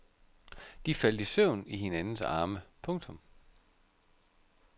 De faldt i søvn i hinandens arme. punktum